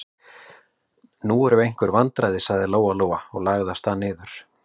Nú eru einhver vandræði, sagði Lóa-Lóa og lagði af stað niður.